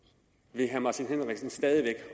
vil herre martin henriksen stadig